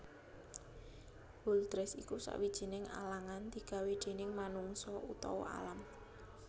Hurdles iku sawijining alangan digawé déning manungsa utawa alam